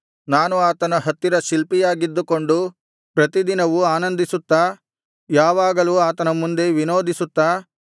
ನಾನು ಆತನ ಹತ್ತಿರ ಶಿಲ್ಪಿಯಾಗಿದ್ದುಕೊಂಡು ಪ್ರತಿದಿನವೂ ಆನಂದಿಸುತ್ತಾ ಯಾವಾಗಲೂ ಆತನ ಮುಂದೆ ವಿನೋದಿಸುತ್ತಾ